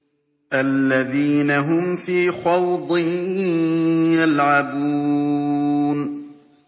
الَّذِينَ هُمْ فِي خَوْضٍ يَلْعَبُونَ